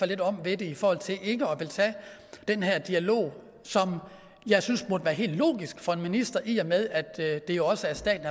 let om ved det i forhold til ikke at ville tage den her dialog som jeg synes burde være helt logisk for en minister i og med at det jo også er staten